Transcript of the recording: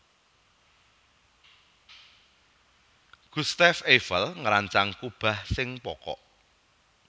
Gustave Eiffel ngrancang kubah sing pokok